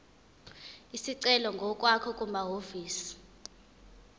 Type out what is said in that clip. isicelo ngokwakho kumahhovisi